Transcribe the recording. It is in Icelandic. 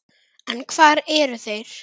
En hvar eru þeir?